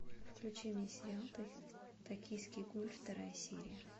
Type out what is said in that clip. включи мне сериал токийский гуль вторая серия